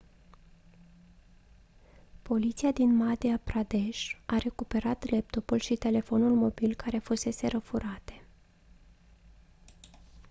poliția din madhya pradesh a recuperat laptopul și telefonul mobil care fuseseră furate